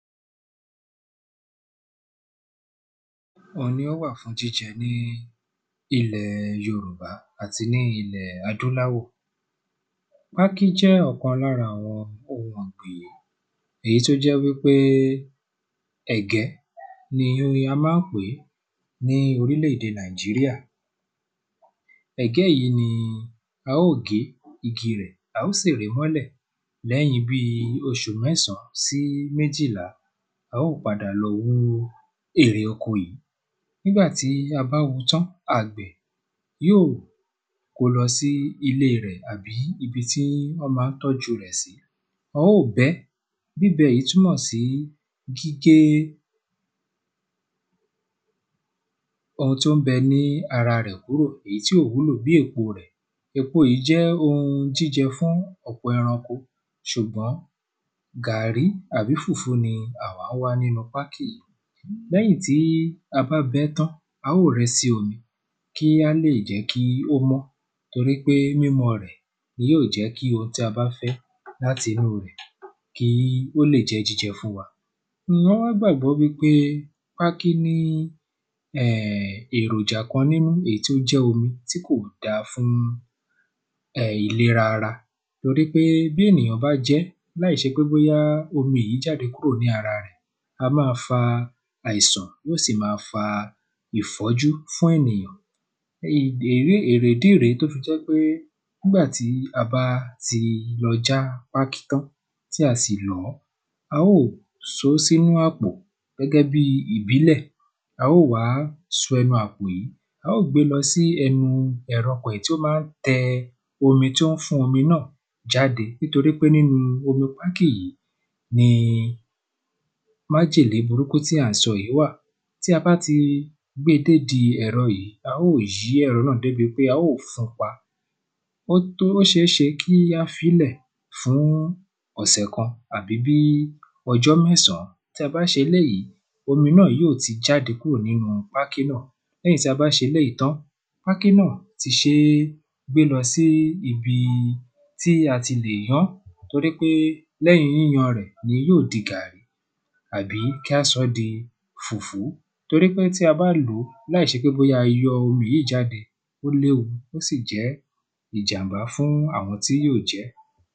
Wọn ni ó wà fún jíjẹ ní ilẹ̀ yorùbá àti ní ilẹ̀ adúláwọ̀ pákí jẹ́ ọ̀kan lára àwọn ohun èyí tó jẹ́ wípé ẹ̀gẹ́ ni a má ń pèé ní orílè èdè nàíjíríà. Ẹ̀gẹ́ yìí ni a ó gé igi rẹ̀ á ó sì rí mọ́lẹ̀ lẹ́yìn bí oṣù mẹ́sàn sí méjìlá á ó padà lọ hú èrè oko yìí nígbàtí a bá hú tán àgbẹ̀ kọ́ lọ sí ilé rẹ̀ àbí ibi tí wọ́n má ń tọ́jú rẹ̀ sí á ó bẹ́ẹ̀ bíbẹ yìí túnmọ̀ sí pé ohun tí ó bẹ ní ara rẹ̀ kúrò èyí tí ò wúlò bí èpo rẹ̀. Èpo yìí jẹ́ ohun jíjẹ fún ọ̀pọ̀ ẹranko ṣùgbọ́n gàrrí àbí fùfú ni àwá wá nínú pákí yìí Lẹ́yìn tí a bá bẹ́ tán á ó rẹ́ sí omi kí á lè jẹ́ kí ó mọ́ torí mímọ́ rẹ̀ ni yóò jẹ́ kí ohun tí a bá fẹ́ láti inú rẹ̀ kí ó lè jẹ jíjẹ fún wa lọ́ wá gbàbọ́ wípé pákí ní um èròjà kan nínú èyí tó jẹ́ omi tí kò dá fún um ìleɹa ara um torípé bí èyàn bá jẹ́ láì ṣe pé bóyá omi yìí jáde kúrò ní ara rẹ̀ a má fa àìsàn yó sì má fa ìfọ́jú fún ènìyàn ní dèrí èrè ìdí rèé tó fi jẹ́ pé nígbàtí a bá ti lọ já pákí tán tí a sì lọ́ á ó só sínú àpò gẹ́gẹ́ bí ìbílẹ̀ a ó wá so ẹnu àpò yìí a ó gbé lọ sí ẹnú ẹ̀rọ pẹ̀ tí ó má ń tẹ omi tí wọ́n fún omi náà jáde nítorí pé nínú omi pákí yìí. Májèlé burúkú tí à ń sọ yìí wà tí a bá ti gbé dé di ẹ̀rọ yìí á ó yí ẹ̀rọ náà dé bi pé á ó fún pa ó tó ó ṣéṣe kí á fílẹ̀ fún ọ̀sẹ̀ kan àbí bí ọjọ́ mẹ́sàn tí a bá ṣe eléèyí omi náà yó ti jáde nínú pákí náà lẹ́yìn tí a bá ṣe tán pákí náà tí sé gbé lọ sí ibi tí a ti lè yán torípé lẹ́yìn yíyan rẹ̀ yóò di gàrrí àbí kí á sọ́ di fùfú torípé tí a bá lò láì ṣe pé bóyá a yọ omi yìí jáde ó léwu ó sì jẹ́ ìjàmbá fún àwọn tí yó jẹ́.